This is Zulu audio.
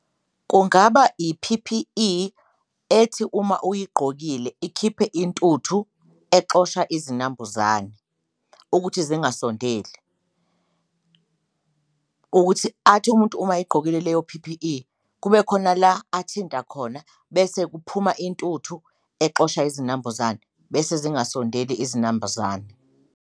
Kungaba i-P_P_E ethi uma uyigqokile ikhiphe intuthu exosha izinambuzane ukuthi zingasondeli, ukuthi athi umuntu uma egqokile leyo P_P_E kube khona la athinta khona bese kuphuma intuthu exosha izinambuzane, bese zingasondeli izinambuzane.